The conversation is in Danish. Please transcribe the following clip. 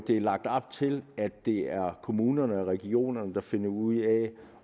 er lagt op til at det er kommunerne og regionerne der skal finde ud af